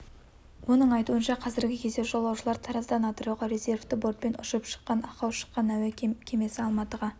оның айтуынша қазіргі кезде жолаушылар тараздан атырауға резервті бортпен ұшып шыққан ақау шыққан әуе кемесі алматыға